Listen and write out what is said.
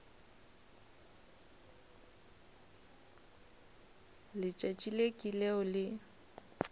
letšatši le ke leo le